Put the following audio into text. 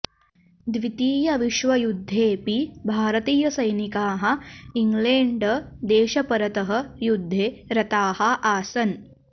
द्वीतीयविश्वयुध्देऽपि भारतीय सैनिकाः इङ्गलेण्ड देशपरतः युध्दे रताः आसन्